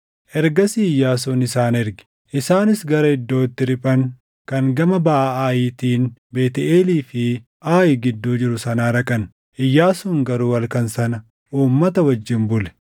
Ergasii Iyyaasuun isaan erge; isaanis gara iddoo itti riphan kan gama baʼa Aayitiin Beetʼeelii fi Aayi gidduu jiru sanaa dhaqan; Iyyaasuun garuu halkan sana uummata wajjin bule.